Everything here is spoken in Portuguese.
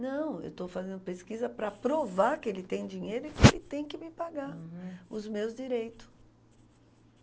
Não, eu estou fazendo pesquisa para provar que ele tem dinheiro e que ele tem que me pagar... Uhum. Os meus direito.